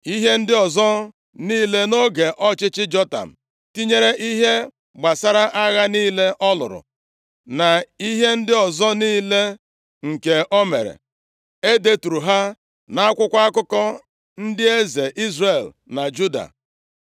Ihe ndị ọzọ niile nʼoge ọchịchị Jotam, tinyere ihe gbasara agha niile ọ lụrụ, na ihe ndị ọzọ niile nke o mere, e deturu ha nʼakwụkwọ akụkọ ndị eze Izrel na Juda.